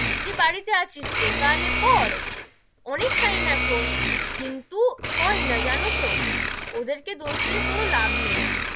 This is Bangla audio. যে বাড়ি তে আছিস তো তাহলে পড়, অনেক time এখন কিন্তু হয় না জানো তো, ওদের কে দোষ দিয়ে কোনো লাভ নেই,